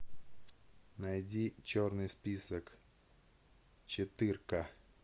найди черный список четырка